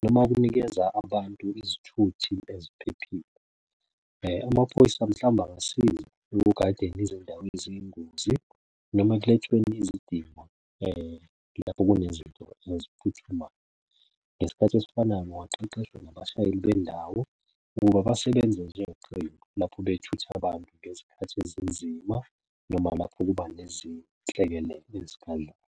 noma ukunikeza abantu izithuthi eziphephile. Amaphoyisa mhlawumbe angasiza ekugadeni izindawo eziyingozi noma ekuletheni izidingo lapho kunezinto eziphuthumayo. Ngesikhathi esifanayo kungaqeqeshwa nabashayeli bendawo ukuba basebenze njengeqembu lapho bethuthe abantu ngezikhathi ezinzima, noma lapho kuba nezinhlekelele ezikhaleni.